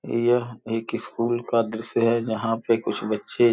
यह एक स्कूल का दृश्य है जहाँ पे कुछ बच्चे --